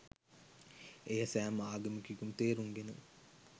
එය සෑම ආගමිකයෙකුම තේරුම්ගෙන